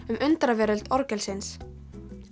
um undraveröld orgelsins